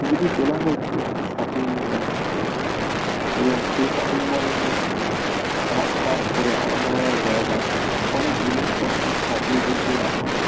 ছবিটি তোলা হয়েছে একটি শপিং মলের মধ্যে এবং সেই শপিং মলে -এর মধ্যে পার্ট পার্ট করে আলাদা আলাদা জায়গায় অনেক জিনিসপত্র সাজিয়ে গুছিয়ে রাখা হয়েছে ।